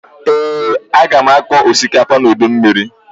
Ee, aga m akọ osikapa n'udu mmiri